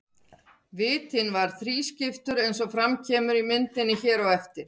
Vitinn var þrískiptur eins og fram kemur á myndinni hér á eftir.